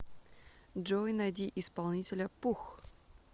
джой найди исполнителя пух